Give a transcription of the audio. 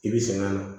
I bi sɛgɛn na